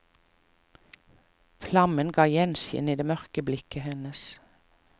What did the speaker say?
Flammen ga gjenskinn i det mørke blikket hennes.